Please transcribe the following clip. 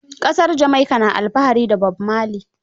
Ƙasar Jamaika na alfahari da Bob Marley.